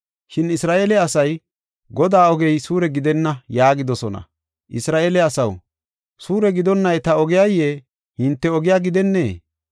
Shin Isra7eele asay, ‘Godaa ogey suure gidenna’ yaagidosona. Isra7eele asaw, suure gidonnay ta ogiya? Hinte ogiya gidennee?